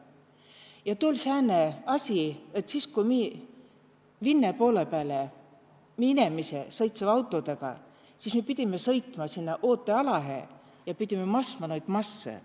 Ja too oll sääne asi, et siis ku mi Vinne poolõ pääle mi inemisõ sõitsiva autodega, siis mi pidime sõitma sinna ootealahe ja pidime masma noid massõ.